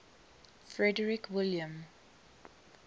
frederick william